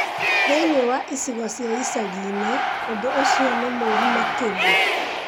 Thĩinĩ wa icigo cia ĩcagi-inĩ, ũndũ ũcio nĩ mũũru makĩria